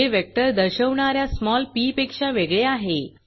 जे वेक्टर दर्शवणा या स्मॉल पी पेक्षा वेगळे आहे